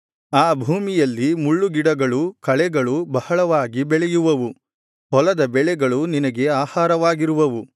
ಆ ಭೂಮಿಯಲ್ಲಿ ಮುಳ್ಳುಗಿಡಗಳೂ ಕಳೆಗಳೂ ಬಹಳವಾಗಿ ಬೆಳೆಯುವವು ಹೊಲದ ಬೆಳೆಗಳು ನಿನಗೆ ಆಹಾರವಾಗಿರುವವು